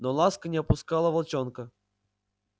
но ласка не опускала волчонка